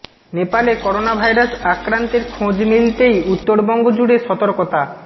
নেপালে corona virus আক্রান্তের খোঁজ মিলতেই উত্তরবঙ্গ জুড়ে সতর্কতা